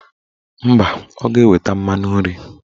Mba, ọ ga-eweta mmanụ nri